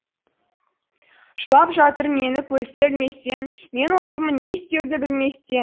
жылап жатыр мені көзге ілместен мен отырмын не істеуді білместен